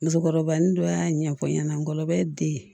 Musokɔrɔba ni dɔ y'a ɲɛfɔ n ɲɛna n gɔlɔbɛ de ye